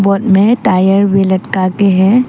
Boat में tyre भी लटका है।